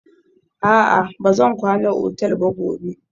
A'a, ba zan kwana otal ba gobe.